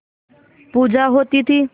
पूजा होती थी